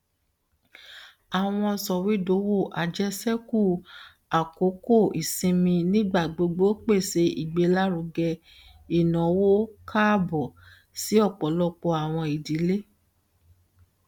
awọn sọwedowo ajeseku akoko isinmi nigbagbogbo pese igbelaruge inawo kaabo si ọpọlọpọ awọn idile